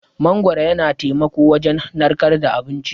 Mangwaro yana taimako wujan narkar da abinci.